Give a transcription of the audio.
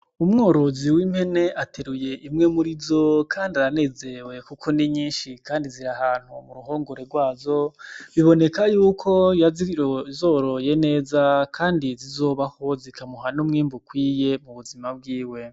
Umworozi w'impene ateruye imwe murizo kandi aranezerewe kuko ni nyinshi kandi ziri ahantu mu ruhongore rwazo, biboneka yuko yazoroye neza kandi zizobaho zikamuha n'umwimbu ukwiye mu buzima bwiwe.